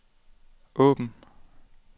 åbn